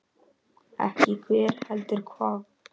Ekki hver, heldur hvað.